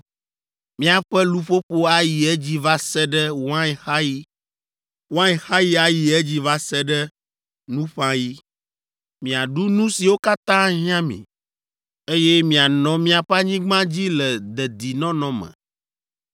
Miaƒe luƒoƒo ayi edzi va se ɖe wainxaɣi, wainxaɣi ayi edzi va se ɖe nuƒãɣi, miaɖu nu siwo katã ahiã mi, eye mianɔ miaƒe anyigba dzi le dedinɔnɔ me,